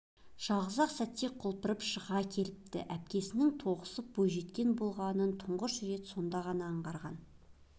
жалғыз-ақ сәтте құлпырып шыға келіпті әпкесінің толықсып бойжеткен болғанын тұңғыш рет сонда ғана аңғарған